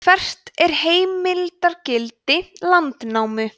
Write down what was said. hvert er heimildargildi landnámu